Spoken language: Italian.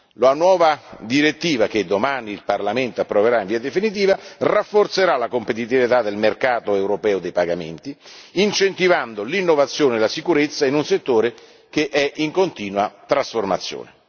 La nuova direttiva che domani il Parlamento approverà in via definitiva rafforzerà la competitività del mercato europeo dei pagamenti, incentivando l'innovazione e la sicurezza in un settore che è in continua trasformazione.